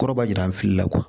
Kɔrɔba jira an fili la